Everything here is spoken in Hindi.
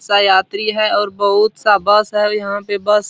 सब यात्री है और बहुत-सा बस है यहाँ पे बस --